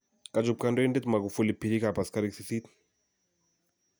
kachup kandoindet magufuli pariig ap asigarik 8